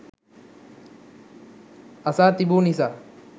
අසා තිබු නිසා